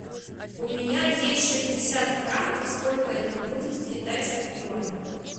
у меня есть шестьдесят франков сколько это будет в китайских юанях